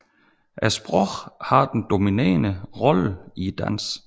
Sproget har den dominerende rolle i dansen